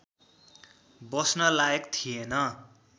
बस्न लायक थिएन